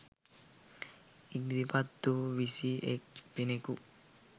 ඉදිරිපත් වූ විසි එක් දෙනෙකු